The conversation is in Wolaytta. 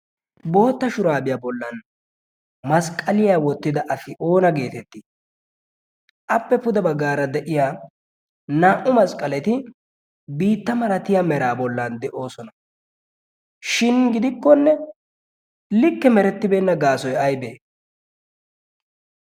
bootta shuraabiyaa bollan masqqaliyaa wottida afi oona geetettii? appe puda baggaara de'ya naa'u masqqaleti biitta maratiya meraa bollan de'oosona. shin gidikkonne likke merettibeenna gaasoi aybe?e